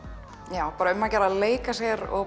já bara um að gera að leika sér og